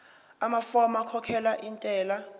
amafomu okukhokhela intela